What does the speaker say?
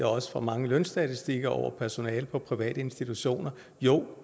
også fra mange lønstatistikker over personale på private institutioner jo